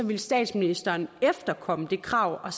ville statsministeren efterkomme det krav og